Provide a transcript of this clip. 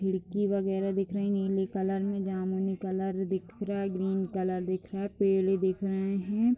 खिड़की वगैरह दिख रही हैं नीले कलर मेंजामुनी कलर दिख रहा हैग्रीन कलर दिख रहा है। पेड़े दिख रहे हैं।